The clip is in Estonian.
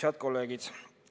Head kolleegid!